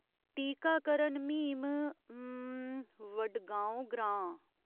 टीकाकरण म्हीम, हम्म, वडगांव ग्रां।